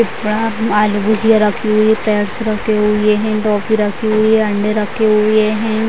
आलू भुजिया रखी हुई है टॉफी रखी हुई है अंडे रखे हुए है।